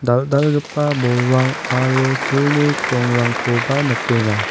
dal·dalgipa bolrang aro silni krongrangkoba nikenga.